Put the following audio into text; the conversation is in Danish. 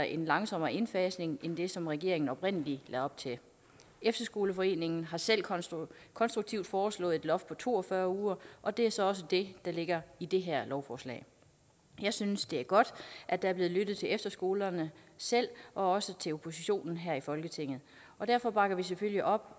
en langsommere indfasning end det som regeringen oprindelig lagde op til efterskoleforeningen har selv konstruktivt foreslået et loft på to og fyrre uger og det er så også det der ligger i det her lovforslag jeg synes det er godt at der er blevet lyttet til efterskolerne selv og også til oppositionen her i folketinget derfor bakker vi selvfølgelig op